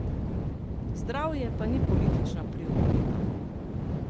Zdravje pa ni politična prioriteta.